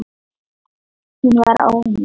Hún var ónýt.